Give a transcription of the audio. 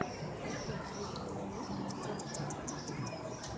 поставь первый выпуск сарутачи тиви